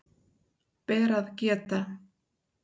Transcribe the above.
Ber að geta